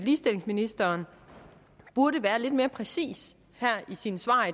ligestillingsministeren burde være lidt mere præcis i sine svar